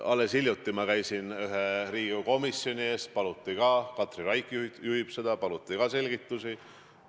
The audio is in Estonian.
Alles hiljuti ma käisin ühe Riigikogu komisjoni ees – Katri Raik juhib seda –, kus mult paluti selgitusi.